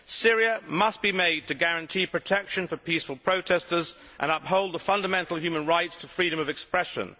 Syria must be made to guarantee protection for peaceful protesters and uphold the fundamental human right to freedom of expression.